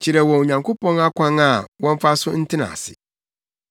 Kyerɛ wɔn Onyankopɔn akwan a wɔmfa so ntena ase.